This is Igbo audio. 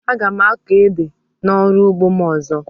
Aga m akọ ede na ọrụ ugbo m ọzọ